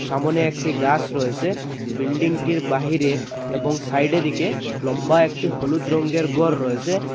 সামোনে একটি গাস রয়েছে বিল্ডিংটির বাহিরে এবং সাইডে দিকে লম্বা একটি হলুদ রঙ্গের ঘর রয়েছে।